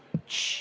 Tss!